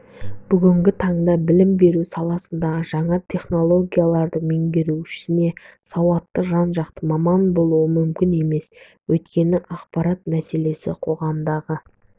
бүгінгі таңда білім беру саласындағы жаңа технологияларды меңгермейінше сауатты жан-жақты маман болу мүмкін емес өйткені ақпарат мәселесі қоғамдағы